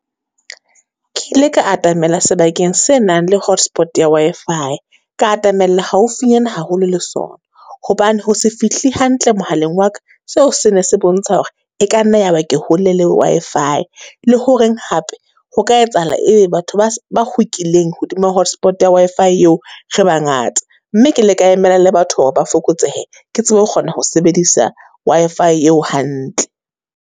Ke ile ka atamela sebakeng se nang le hotspot ya Wi-Fi, ka atamella haufinyana haholo le sona. Hobane ho se fihle hantle mohaleng wa ka, seo se ne se bontsha hore e ka nna ya ba ke hole le Wi-Fi. Le horeng hape ho ka etsahala e be batho ba ba kgukileng hodima hotspot ya Wi-Fi eo, re bangata. Mme ke ile ka emela le batho hore ba fokotsehe. Ke tsebe ho kgona ho sebedisa Wi-Fi eo hantle.